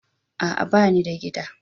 A'a banida gida